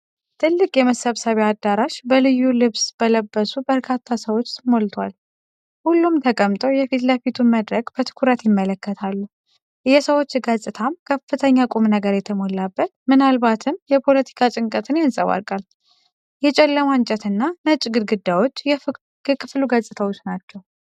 ትልቅ የመሰብሰቢያ አዳራሽ በልዩ ልብስ በለበሱ በርካታ ሰዎች ሞልቷል። ሁሉም ተቀምጠው የፊት ለፊቱን መድረክ በትኩረት ይመለከታሉ። የሰዎች ገጽታም ከፍተኛ ቁም ነገር የተሞላበት፣ ምናልባትም የፖለቲካ ጭንቀትን ያንጸባርቃል። የጨለማ እንጨት እና ነጭ ግድግዳዎች የክፍሉ ገጽታ ናቸው።